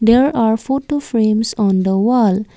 there are photo frames on the wall.